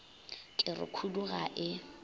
ke re khudu ga e